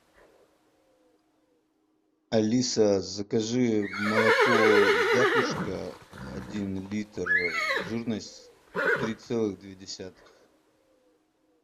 алиса закажи молоко вятушка один литр жирность три целых две десятых